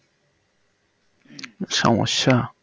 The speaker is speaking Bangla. সমস্যা